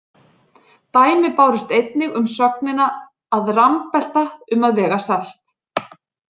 Dæmi bárust einnig um sögnina að rambelta um að vega salt.